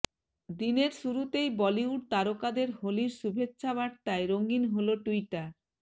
দিনের শুরুতেই বলিউড তারকাদের হোলির শুভেচ্ছা বার্তায় রঙিন হল টুইটার